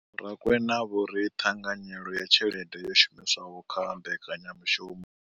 Vho Rakwena vho ri ṱhanganyelo ya tshelede yo shumiswaho kha mbekanyamushumo.